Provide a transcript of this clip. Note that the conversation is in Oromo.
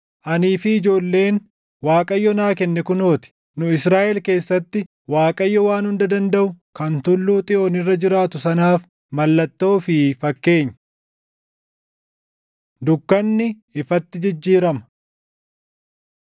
Anii fi ijoolleen Waaqayyo naa kenne kunoo ti. Nu Israaʼel keessatti Waaqayyoo Waan Hunda Dandaʼu kan Tulluu Xiyoon irra jiraatu sanaaf mallattoo fi fakkeenya. Dukkanni Ifatti Jijjiirama